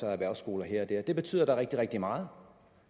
er erhvervsskoler her og der det betyder da rigtig rigtig meget